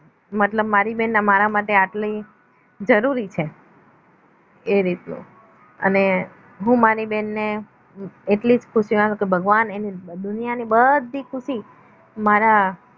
મતલબ મારી બેન મારા માટે આટલી જરૂરી છે એ રીતનું અને હું મારી બહેનને એટલી જ ખુશી માંગુ છું ભગવાન દુનિયાની બધી ખુશી મારા